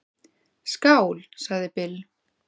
"""Skál, sagði Bill."""